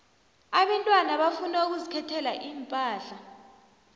abentwana bafuna ukuzikhethela iimpahla